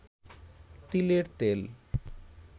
তিলের তেল